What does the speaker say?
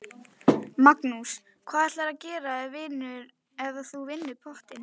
Magnús: Hvað ætlarðu að gera ef þú vinnur pottinn?